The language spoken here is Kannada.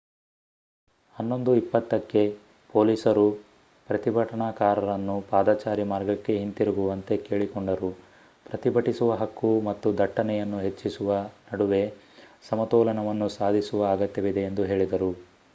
11 20 ಕ್ಕೆ ಪೊಲೀಸರು ಪ್ರತಿಭಟನಾಕಾರರನ್ನು ಪಾದಚಾರಿ ಮಾರ್ಗಕ್ಕೆ ಹಿಂತಿರುಗುವಂತೆ ಕೇಳಿಕೊಂಡರು ಪ್ರತಿಭಟಿಸುವ ಹಕ್ಕು ಮತ್ತು ದಟ್ಟಣೆಯನ್ನು ಹೆಚ್ಚಿಸುವ ನಡುವೆ ಸಮತೋಲನವನ್ನು ಸಾಧಿಸುವ ಅಗತ್ಯವಿದೆ ಎಂದು ಹೇಳಿದರು